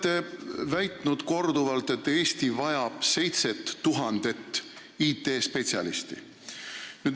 Te olete korduvalt väitnud, et Eesti vajab 7000 IT-spetsialisti.